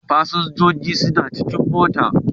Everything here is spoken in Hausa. Fasinjojin suna cikin mota.